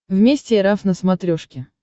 вместе эр эф на смотрешке